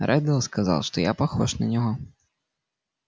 реддл сказал что я похож на него